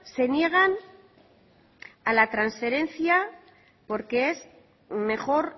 se niegan a la transferencia porque es mejor